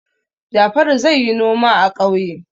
Jafaru zai yi noma a ƙauye.